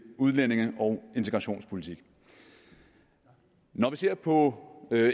udlændinge og integrationspolitik når vi ser på